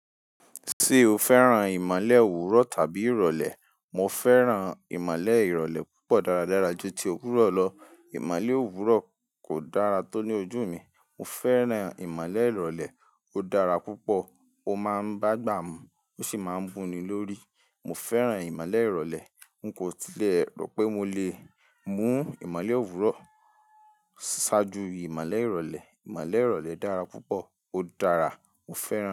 Ṣé o fẹ́ràn ìmọ́lẹ̀ òwúrọ̀ tàbí ìrọ̀lẹ́? Mo fẹ́ràn ìmọ́lẹ̀ ìrọ̀lẹ́ púpọ̀ dáradára ju ti òwúrọ̀ lọ. Ìmọ́lẹ̀ òwúrọ̀ kò dára tó ní ojú mi. Mo fẹ́ràn ìmọ́lẹ̀ ìrọ̀lẹ́. Ó dára púpọ̀, ó máa ń bágbà mú, ó sì máa ń mú ni lórí. Mo fẹ́ràn ìmálè ìrọ̀lẹ́. Nkò tí ẹ rò pé mo lè mu ìmọ́lẹ̀ òwúrọ̀ ṣáájú ìmọ́lẹ̀ ìrọ̀lẹ́ ìmálè ìrọ̀lẹ́ dára púpọ̀, ó dára, mo fẹ́ràn.